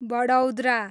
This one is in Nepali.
बडौदरा